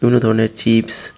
বিভিন্ন ধরণের চিপস --